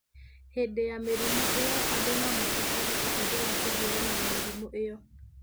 Hĩndĩ ya mĩrimũ ĩyo, andũ no mabatare ũteithio wa kũhiũrania na mĩrimũ ĩyo.